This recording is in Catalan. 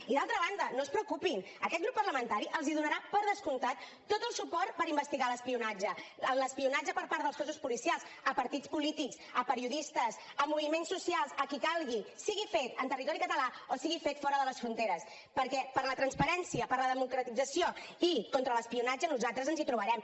i d’altra banda no es preocupin aquest grup parlamentari els donarà per descomptat tot el suport per investigar l’espionatge l’espionatge per part dels cossos policials a partits polítics a periodistes a moviments socials a qui calgui sigui fet en territori català o sigui fet fora de les fronteres perquè per la transparència per la democratització i contra l’espionatge nosaltres ens hi trobarem